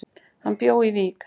Hann bjó í Vík.